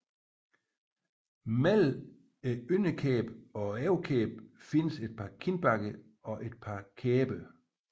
Mellem underlæben og overlæben findes et par kindbakker og et par kæber